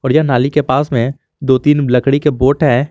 और यह नाली के पास में दो तीन लकड़ी के बोट है।